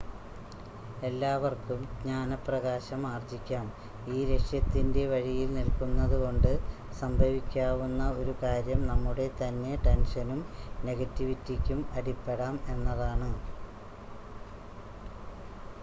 എല്ലാവർക്കും ജ്ഞാനപ്രകാശം ആർജ്ജിക്കാം ഈ ലക്ഷ്യത്തിൻ്റെ വഴിയിൽ നിൽക്കുന്നതുകൊണ്ട് സംഭവിക്കാവുന്ന ഒരു കാര്യം നമ്മുടെതന്നെ ടെൻഷനും നെഗറ്റിവിറ്റിയ്ക്കും അടിപ്പെടാം എന്നതാണ്